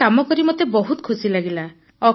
ଏହି କାମ କରି ମୋତେ ବହୁତ ଖୁସି ଲାଗିଲା